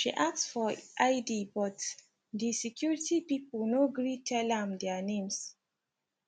she ask for id but di security pipu no gree tell am their names